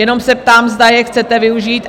Jenom se ptám, zda je chcete využít?